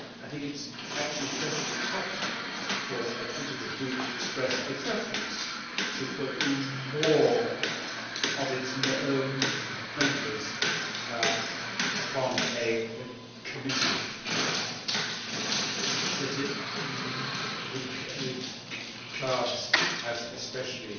I think it is actually perfectly proper for a political group to express a preference to put more of its members on a committee that it regards as especially